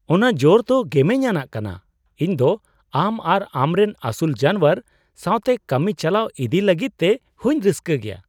ᱚᱱᱟ ᱡᱳᱨ ᱫᱚ ᱜᱮᱢᱮᱧ ᱟᱱᱟᱜ ᱠᱟᱱᱟ ! ᱤᱧ ᱫᱚ ᱟᱢ ᱟᱨ ᱟᱢᱨᱮᱱ ᱟᱹᱥᱩᱞ ᱡᱟᱱᱣᱟᱨ ᱥᱟᱶᱛᱮ ᱠᱟᱹᱢᱤ ᱪᱟᱞᱟᱣ ᱤᱫᱤᱭ ᱞᱟᱹᱜᱤᱫᱛᱮ ᱦᱚᱸᱧ ᱨᱟᱹᱥᱠᱟᱹ ᱜᱮᱭᱟ ᱾